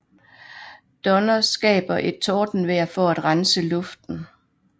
Donner skaber et tordenvejr for at rense luften